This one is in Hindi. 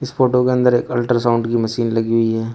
इस फोटो के अंदर एक अल्ट्रासाउंड की मशीन लगी हुई है।